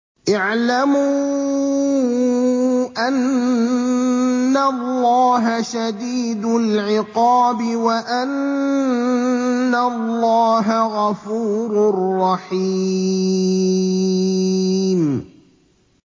اعْلَمُوا أَنَّ اللَّهَ شَدِيدُ الْعِقَابِ وَأَنَّ اللَّهَ غَفُورٌ رَّحِيمٌ